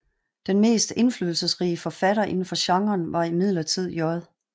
Den mest indflydelserige forfatter indenfor genren var imidlertid J